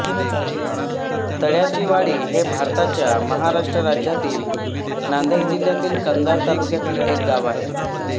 तळ्याचीवाडी हे भारताच्या महाराष्ट्र राज्यातील नांदेड जिल्ह्यातील कंधार तालुक्यातील एक गाव आहे